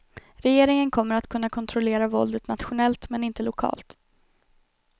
Regeringen kommer att kunna kontrollera våldet nationellt men inte lokalt.